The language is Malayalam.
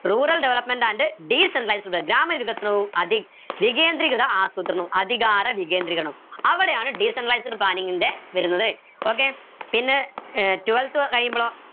rural development and planning ഗ്രാമ വികസനവും വികേന്ദ്രീകത ആസൂത്രണവും അധികാര വികേന്ദ്രീകരണവും അവിടെയാണ് planning ൻ്റെ വരുന്നത് okay പിന്നെ ഏർ twelfth കഴിയുമ്പോളോ